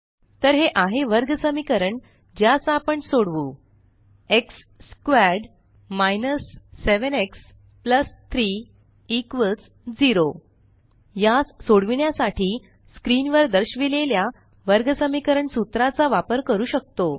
तर हे आहे वर्गसमीकरण ज्यास आपण सोडवू एक्स स्क्वेअर्ड 7 एक्स 3 0 यास सोडविण्यासाठी स्क्रीन वर दर्शविलेल्या वर्गसमीकरण सूत्राचा वापर करू शकतो